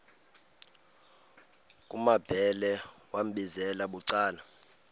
kumambhele wambizela bucala